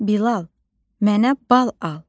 Bilal, mənə bal al.